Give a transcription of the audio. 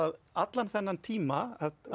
allan þennan tíma